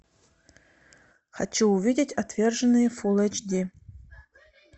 хочу увидеть отверженные фулл эйч ди